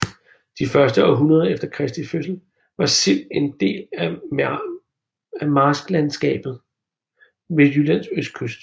De første århundreder efter Kristi fødsel var Sild en del af marsklandskabet ved Jyllands østkyst